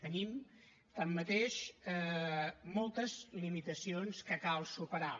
tenim tanmateix moltes limitacions que cal superar